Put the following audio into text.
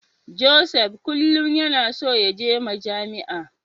Joseph kullum yana so yaje Majami'a.